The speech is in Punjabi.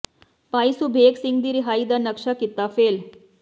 ਭਾਈ ਸੁਬੇਗ ਸਿੰਘ ਦੀ ਰਿਹਾਈ ਦਾ ਨਕਸ਼ਾ ਕੀਤਾ ਫੇਲ